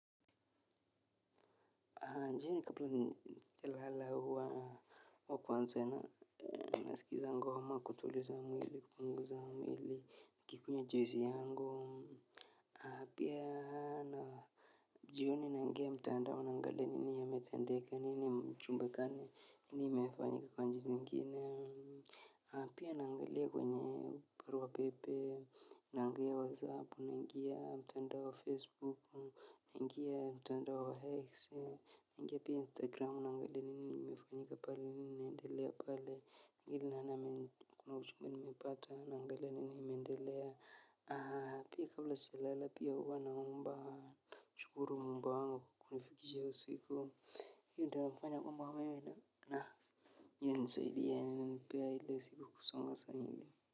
Ndiyo ni kaplu nalala huwa wakwa nzena. Nasikiza ngoma kutuliza mwili, kupunguza mwili, nikikunywa juisi yangu. Pia hana. Jioni naingia mtandao nangalia nini yametendeka nini mchumba kane nini imefanyika kwa nchi zingine. Pia naangalia kwenye barua pepe, naangalia WhatsApp, naingia mtandao wa Facebook, naingia mtandao wa X naingia pia instagram naangalia nini imefanyika pale nini inaendelea pale mingi ya nani kuna ujumbe nimepata naangalia nini imeendelea aa pia kabla sijalala pia huwa naomba nashukuru muumba wangu kunifikisha hiyo usiku hiyo ndia wakufanya kumbwa mweme na na na nina nisaidi ya nina nipea hile usiku kusonga sanyili Muzika.